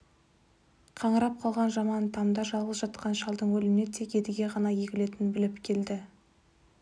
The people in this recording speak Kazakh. қаңырап қалған жаман тамда жалғыз жатқан шалдың өліміне тек едіге ғана егілетінін біліп келді